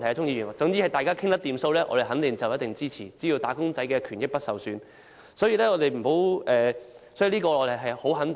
鍾議員，只要大家能夠達成協議，而"打工仔"的權益不會受損，我可以肯定說我們必定支持。